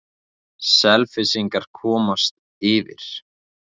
Selfyssingar komast yfir.